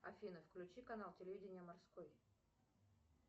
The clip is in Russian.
афина включи канал телевидения морской